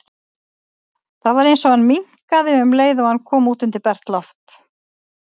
Það var eins og hann minnkaði um leið og hann kom út undir bert loft.